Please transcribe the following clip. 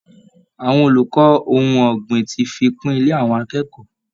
Àwọn olùkọ́ ohun ọ̀gbìn ti fi kún ilẹ̀ àwọn akẹ́kọ̀ọ́